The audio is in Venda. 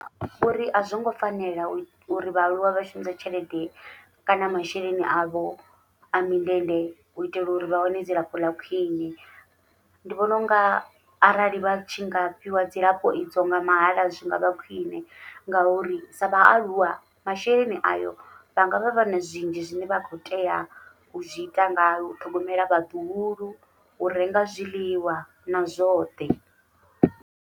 Uri azwongo fanela uri vhaaluwa vha shumise tshelede kana masheleni avho a mindende uitela uri vha wane dzilafho ḽa khwiṋe, ndi vhona unga arali vha tshi nga fhiwa dzilafho idzo nga mahaḽa zwi ngavha khwiṋe ngauri sa vhaaluwa masheleni ayo vha ngavha vha na zwinzhi zwine vha khou tea u zwi ita ngayo u ṱhogomela vhaḓuhulu, u renga zwiḽiwa na zwoṱhe.